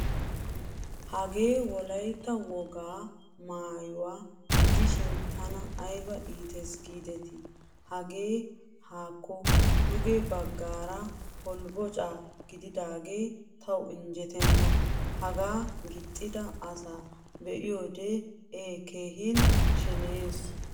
Hagee wolaytta wogaa maayuwaa gidishin tana ayba iittees gideti. Hagee haakko duge baggaara holbbocca gididagge tawu innjjeettena. Hagaa gixxida asaa be'iyod e keehin sheneyees.